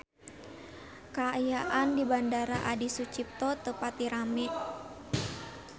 Kaayaan di Bandara Adi Sucipto teu pati rame